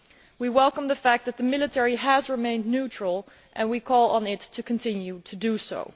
We welcome the fact that the military has remained neutral and we call on it to continue to do so.